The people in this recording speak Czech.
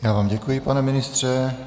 Já vám děkuji, pane ministře.